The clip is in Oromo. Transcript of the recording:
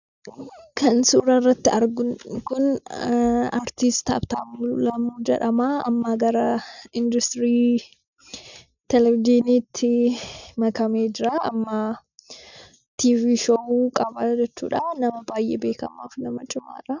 Kan suuraa irratti argamu kun aartist Habtaamuu Lamuu jedhama. Amma gara 'industirii televiizyinii'tti makamee jira. 'TV show' qaba jechuudha. Nama baay'ee beekamaa fi nama cimaadha.